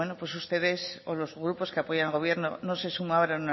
ustedes o los grupos que apoyan al gobierno no se sumaron en